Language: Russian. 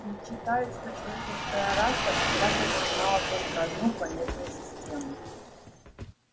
ведь читают что человеческая раса когда-то занимала только одну планетную систему